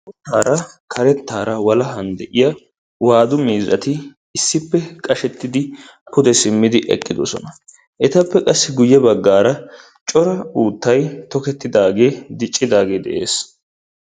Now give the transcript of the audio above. Hara karettaara walahan de'iyaa waadu miizzati issippe qashshettidi pude simmidi eqqidosona. etappe qassi guye baggaara uuttay tokettidagee diccidagee de'ees.